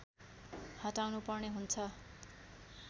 हटाउनुपर्ने हुन्छ